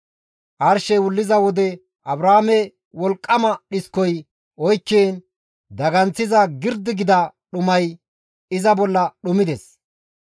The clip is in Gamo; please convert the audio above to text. Arshey wulliza wode Abraame wolqqama dhiskoy oykkiin daganththiza girdi gida dhumay iza bolla dhumides.